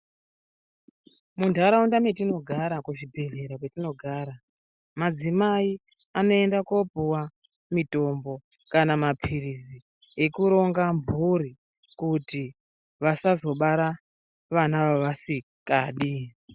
Muntaraunda mwetinogara kuzvibhedhleya kwetinogara madzimai anoenda kopuwa mitombo kana mapilizi ekuronga mphuri kuti vasazobara vana vavasikadi.